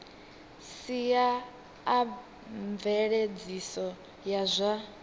sia a mveledziso ya zwa